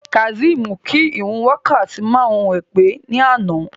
Kazeem kí ìrun wákàtí márùn-ún rẹ̀ pé ní àná.